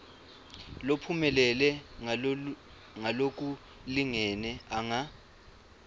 lophumelele ngalokulingene anga